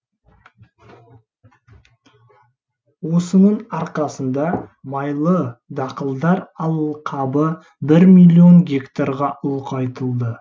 осының арқасында майлы дақылдар алқабы бір миллион гектарға ұлғайтылды